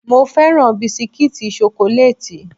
Mo féràn bisikítì ṣokolátì.